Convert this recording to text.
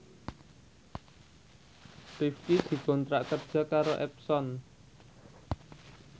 Rifqi dikontrak kerja karo Epson